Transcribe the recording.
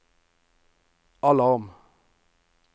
alarm